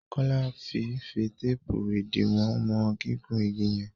Kola fí fí teepu idiwọn wọn gigun ìgi yen.